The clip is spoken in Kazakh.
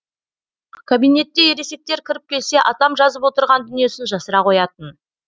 кабинетке ересектер кіріп келсе атам жазып отырған дүниесін жасыра қоятын